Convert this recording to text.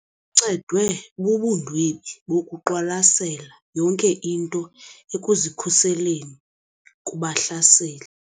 Uncedwe bubundwebi bokuqwalasela yonke into ekuzikhuseleni kubahlaseli.